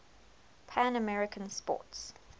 pan american sports